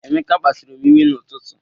Emeka kpasuru m iwe n'ụtụtụ.